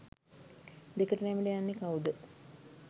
දෙකට නැමිලා යන්නේ කවුද?